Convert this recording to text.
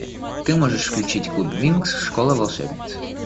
ты можешь включить клуб винкс школа волшебниц